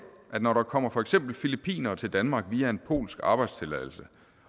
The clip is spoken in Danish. at når der kommer for eksempel filippinere til danmark via en polsk arbejdstilladelse